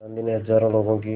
गांधी ने हज़ारों लोगों की